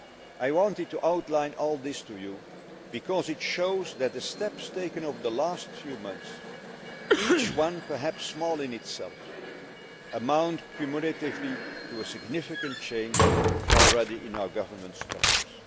I wanted to outline all this to you because it shows that the steps taken over the last few months, each one perhaps small in itself, amount cumulatively to a significant change already in our governance structures.